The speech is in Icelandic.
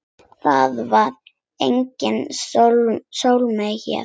Það var engin Salóme hér.